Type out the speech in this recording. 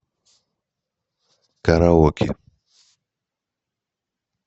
караоке